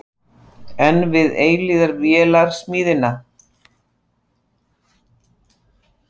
Enn við eilífðarvélarsmíðina?